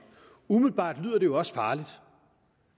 umiddelbart lyder det jo også farligt